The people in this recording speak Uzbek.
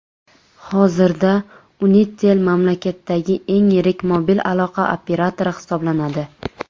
Hozirda Unitel mamlakatdagi eng yirik mobil aloqa operatori hisoblanadi.